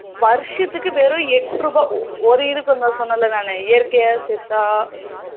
வருஷத்துக்கு வெறும் எட்டு ரூபா ஒரு இதுக்கு சொன்னேன்ல நானு இயற்கையா செத்தா